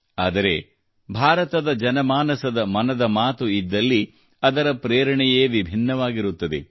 ಆದರೆ ಭಾರತದ ಜನಮಾನಸದ ಮನದ ಮಾತು ಇದ್ದಲ್ಲಿ ಅದರ ಪ್ರೇರಣೆಯೇ ವಿಭಿನ್ನವಾಗಿರುತ್ತದೆ